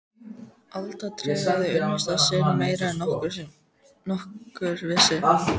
Alda tregaði unnusta sinn meira en nokkur vissi.